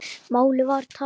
Málið var tapað.